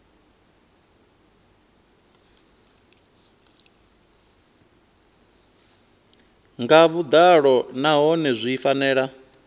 nga vhuḓalo nahone zwi fanela